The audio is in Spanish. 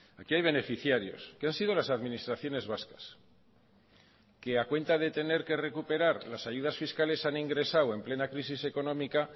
aquí hay beneficiarios que han sido las administraciones vascas que a cuenta de tener que recuperar las ayudas fiscales han ingresado en plena crisis económica